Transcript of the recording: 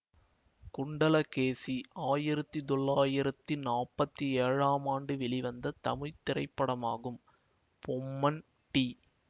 குண்டலகேசி ஆயிரத்தி தொள்ளாயிரத்தி நாப்பத்தி ஏழாம் ஆண்டு வெளிவந்த தமிழ் திரைப்படமாகும் பொம்மன் டி